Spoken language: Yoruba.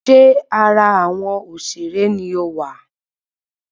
Ṣé ara awọn òṣèré ni ọ wá?